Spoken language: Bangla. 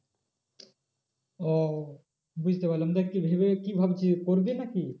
ও বুঝতে পরলাম দেখ ভেবে কি ভাবছিস করবি নাকি?